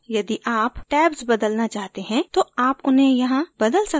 यदि आप tabs बदलना चाहते हैं तो आप उन्हें यहाँ बदल सकते हैं